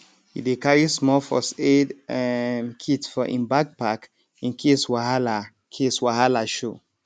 e dey carry small first aid um kit for im backpack in case wahala case wahala show